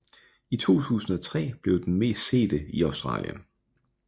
I 2003 blev den den mest sete i Australien